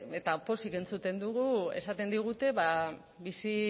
eta pozik entzuten dugu esaten digute bizi